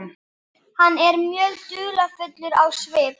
Hann er mjög dularfullur á svip.